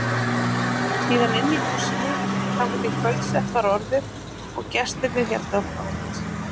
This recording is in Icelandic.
Síðan inni í húsinu þangað til kvöldsett var orðið og gestirnir héldu brott.